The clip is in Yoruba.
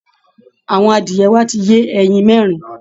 Àwọn adìẹ wa ti yé ẹyin mẹ́rin